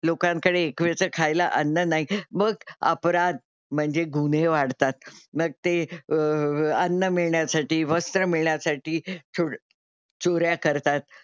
लोकांकडे एकवेळचं खायला अन्न नाही मग अपराध म्हणजे गुन्हे वाढतात. मग ते अह अन्न मिळण्यासाठी, वस्त्र मिळण्यासाठी चो चोऱ्या करतात.